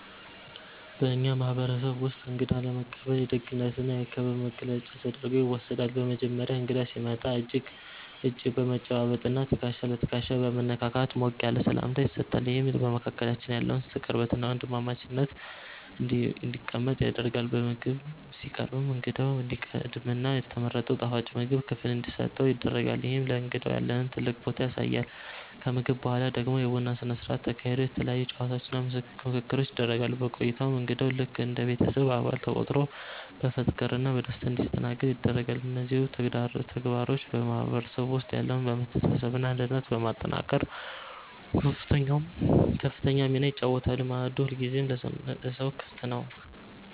በእኛ ማህበረሰብ ውስጥ እንግዳ መቀበል የደግነትና የክብር መገለጫ ተደርጎ ይወሰዳል። በመጀመሪያ እንግዳ ሲመጣ እጅ በመጨባበጥና ትከሻ ለትከሻ በመነካካት ሞቅ ያለ ሰላምታ ይሰጣል፤ ይህም በመካከላችን ያለውን ቅርበትና ወንድማማችነት ይገልጻል። ከዛም እንግዳው ወንበር ተለቆለትና ተመቻችቶ እንዲቀመጥ ይደረጋል። ምግብ ሲቀርብም እንግዳው እንዲቀድምና የተመረጠው የጣፋጭ ምግብ ክፍል እንዲሰጠው ይደረጋል፤ ይህም ለእንግዳው ያለንን ትልቅ ቦታ ያሳያል። ከምግብ በኋላ ደግሞ የቡና ስነ ስርዓት ተካሂዶ የተለያዩ ጨዋታዎችና ምክክሮች ይደረጋሉ። በቆይታውም እንግዳው ልክ እንደ ቤተሰብ አባል ተቆጥሮ በፍቅርና በደስታ እንዲስተናገድ ይደረጋል። እነዚህ ውብ ተግባሮች በማህበረሰቡ ውስጥ ያለውን መተሳሰብና አንድነት በማጠናከር ከፍተኛ ሚና ይጫወታሉ፤ ማዕዱ ሁልጊዜም ለሰው ክፍት ነው።